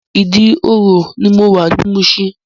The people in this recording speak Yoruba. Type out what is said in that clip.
Idi-oro ni mó wá ni Mushin